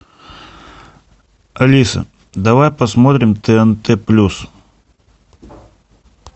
алиса давай посмотрим тнт плюс